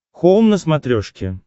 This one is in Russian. хоум на смотрешке